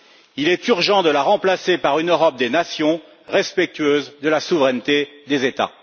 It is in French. Il est urgent de la remplacer par une Europe des nations respectueuse de la souveraineté des États.